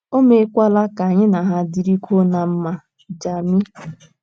O meekwala ka anyị na ha dịrịkwuo ná mma. Dami